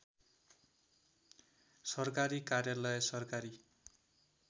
सरकारी कार्यालय सरकारी